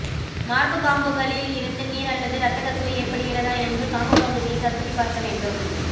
மார்புக் காம்புகளில் இருந்து நீர் அல்லது ரத்தக் கசிவு ஏற்படுகிறதா என்று காம்புப் பகுதியைக் கசக்கிப் பார்க்க வேண்டும்